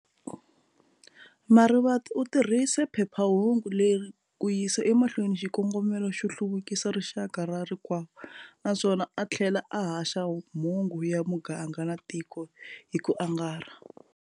Marivate utirhise phephahungu leri kuyisa emahlweni xikongomela xo hluvukisa rixaka ra rikwavo, naswona a thlela a haxa mhungu ya muganga na tiko hiku angarha.